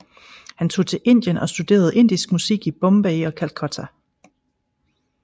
Han tog til Indien og studerede indisk musik i Bombay og Calcutta